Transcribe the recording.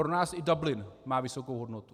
Pro nás i Dublin má vysokou hodnotu.